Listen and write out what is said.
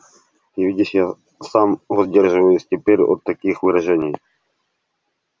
ты видишь я сам воздерживаюсь теперь от таких выражений